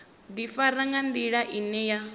ḓifara nga nḓila ine ya